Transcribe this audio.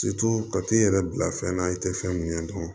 ka t'i yɛrɛ bila fɛn na i tɛ fɛn mun ɲɛ dɔn